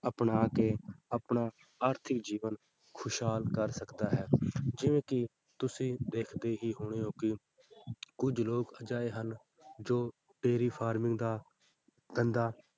ਅਪਣਾ ਕੇ ਆਪਣਾ ਆਰਥਿਕ ਜੀਵਨ ਖ਼ੁਸ਼ਹਾਲ ਕਰ ਸਕਦਾ ਹੈ ਜਿਵੇਂ ਕਿ ਤੁਸੀਂ ਦੇਖਦੇ ਹੀ ਹੋਣੇ ਹੋ ਕਿ ਕੁੱਝ ਲੋਕ ਅਜਿਹੇ ਹਨ ਜੋ dairy farming ਦਾ ਧੰਦਾ